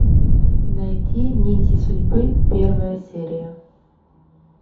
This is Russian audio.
найти нити судьбы первая серия